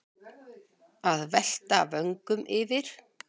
Að velta vöngum yfir